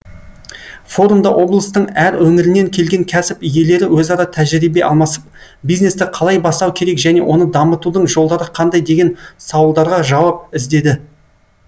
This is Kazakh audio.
форумда облыстың әр өңірінен келген кәсіп иелері өзара тәжірибе алмасып бизнесті қалай бастау керек және оны дамытудың жолдары қандай деген саулдарға жауап іздеді